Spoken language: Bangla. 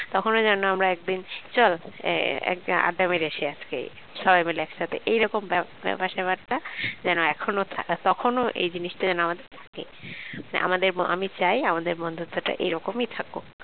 তখন যেন আমরা এক bench চল আড্ডা মেরে আসি আজকে সবাই মিলে একসাথে এইরকম ব্যাপার স্যাপারটা যেন এখনো থাক তখন এই জিনিসটা যেন আমাদের থাকে আমাদের ম আমি চাই আমাদের বন্ধুত্বটা এরকমই থাকুক